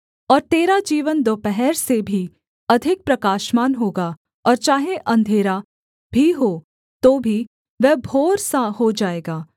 और तेरा जीवन दोपहर से भी अधिक प्रकाशमान होगा और चाहे अंधेरा भी हो तो भी वह भोर सा हो जाएगा